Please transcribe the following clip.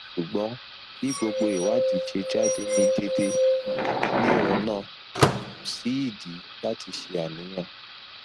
sugbon bi gbogbo iwadi se jade ni dede nirona ko si idi lati se aniyan